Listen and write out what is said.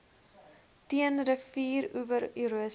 teen rivieroewer erosie